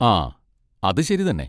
ആ, അത് ശരി തന്നെ.